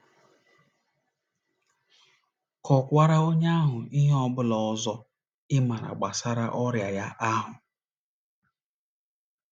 Kọkwaara onye ahụ ihe ọ bụla ọzọ ị ma gbasara ọrịa ya ahụ.